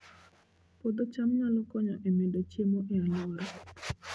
Puodho cham nyalo konyo e medo chiemo e alwora